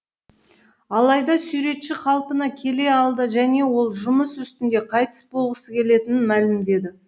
алайда суретші қалпына келе алды және ол жұмыс ұстінде қайтыс болғысы келетінін мәлімдеді